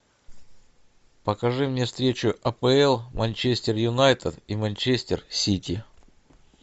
покажи мне встречу апл манчестер юнайтед и манчестер сити